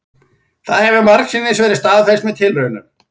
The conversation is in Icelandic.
Það hefur margsinnis verið staðfest með tilraunum,